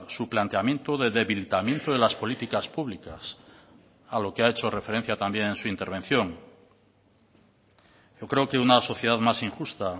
su planteamiento de debilitamiento de las políticas públicas a lo que ha hecho referencia también en su intervención yo creo que una sociedad más injusta